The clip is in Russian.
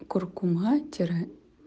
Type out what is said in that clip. куркума тире